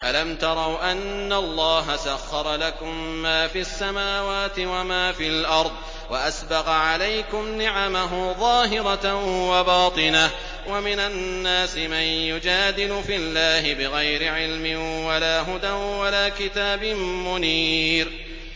أَلَمْ تَرَوْا أَنَّ اللَّهَ سَخَّرَ لَكُم مَّا فِي السَّمَاوَاتِ وَمَا فِي الْأَرْضِ وَأَسْبَغَ عَلَيْكُمْ نِعَمَهُ ظَاهِرَةً وَبَاطِنَةً ۗ وَمِنَ النَّاسِ مَن يُجَادِلُ فِي اللَّهِ بِغَيْرِ عِلْمٍ وَلَا هُدًى وَلَا كِتَابٍ مُّنِيرٍ